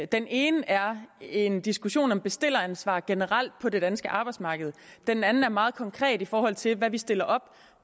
den ene er en diskussion om bestilleransvar generelt på det danske arbejdsmarked den anden er meget konkret i forhold til hvad vi stiller op